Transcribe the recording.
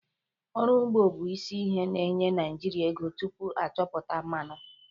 Ọrụ ugbo bụ isi ihe na-enye Naịjirịa ego tupu a chọpụta mmanụ.